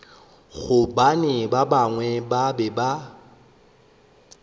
gobane ba bangwe ba be